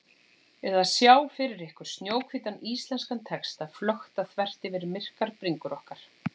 ið að sjá fyrir ykkur snjóhvítan íslenskan texta flökta þvert yfir myrkar bringur okkar.